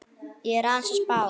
Ég er aðeins að spá.